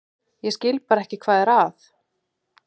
Ég skil bara ekki hvað er að.